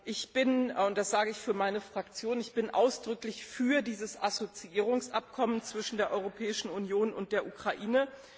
Ich bin und das sage ich für meine Fraktion ausdrücklich für dieses Assoziierungsabkommen zwischen der Europäischen Union und der Ukraine.